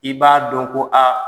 I b'a dɔn ko aa.